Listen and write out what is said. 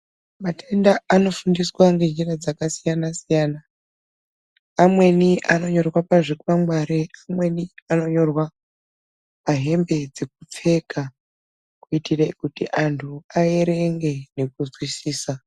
Matenda anofundiswa ngenjira dzakasiyana siyana amweni anonyorwa pazvikwangwari amweni anonyorwa pahembe dzekupfeka kuitire kuti antu aerenge nekuzwisisa.